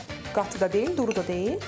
Çox qatı da deyil, duru da deyil.